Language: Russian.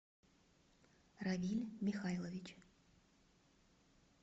равиль михайлович